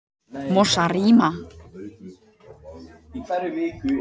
Mosarima